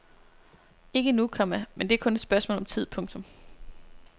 Ikke endnu, komma men det er kun et spørgsmål om tid. punktum